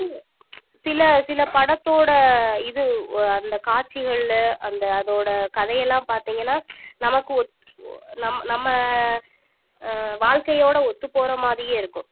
சில சில படத்தோட இது அந்த காட்சிகள்ல அந்த அதோட கதையெல்லாம் பாத்தீங்கன்னா நமக்கு ஒத்~ ஓ நம்ம நம்ம ஆஹ் வாழ்க்கையோட ஒத்துப் போற மாதிரியே இருக்கும்